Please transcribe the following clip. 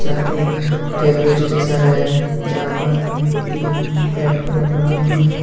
यह एक railway station है जहा पर तीन प्लेटफारम बनी हुई है।